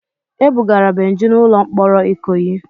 E bugara Benji n'ụlọ mkpọrọ Ikoyi.